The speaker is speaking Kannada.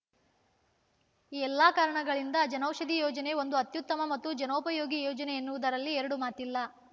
ಈ ಎಲ್ಲಾ ಕಾರಣಗಳಿಂದ ಜನೌಷಧಿ ಯೋಜನೆ ಒಂದು ಅತ್ಯುತ್ತಮ ಮತ್ತು ಜನೋಪಯೋಗಿ ಯೋಜನೆ ಎನ್ನುವುದರಲ್ಲಿ ಎರಡು ಮಾತಿಲ್ಲ